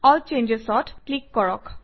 L Changes অত click কৰক